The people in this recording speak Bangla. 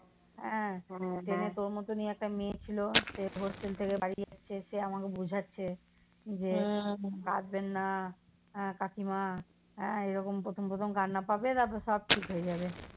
ট্রেনে তোর মতনই একটা মেয়ে ছিল সে hostel থেকে বাড়ি যাচ্ছে। সে আমাকে বোঝাচ্ছে যে, কাদবেননা কাকিমা হ্যাঁ এরকম প্রথম প্রথম কান্না পাবে তারপরে সব ঠিক হয়ে যাবে।